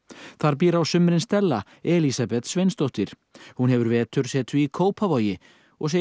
þar býr á sumrin Stella Elísabet Sveinsdóttir hún hefur vetursetu í Kópavogi og segir